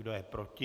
Kdo je proti?